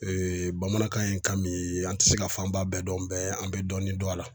Ee bamanankan in ka min an ti se ka fɔ an b'a bɛɛ dɔn an bɛ dɔɔnin dɔn a la